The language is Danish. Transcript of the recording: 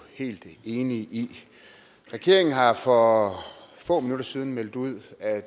helt enige i regeringen har for få minutter siden meldt ud at